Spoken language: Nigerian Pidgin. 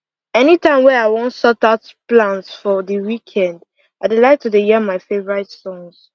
any time wey i wan sort out plans for the weekend i lke to dey hear my favorite songs